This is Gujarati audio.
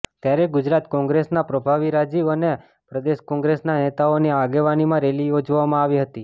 ત્યારે ગુજરાત કોંગ્રેસના પ્રભારી રાજીવ અને પ્રદેશ કોંગ્રેસના નેતાઓની આગેવાનીમાં રેલી યોજાવામાં આવી હતી